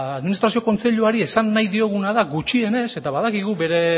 administrazio kontseiluari esan nahi dioguna da gutxienez eta badakigu